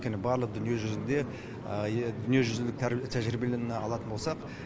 өйткені барлық дүниежүзілік тәжірибеліні алатын болсақ